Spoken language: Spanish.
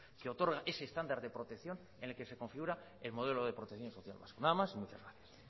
que otorga ese estándar de protección en el que se configura el modelo de protección social vasco nada más y muchas gracias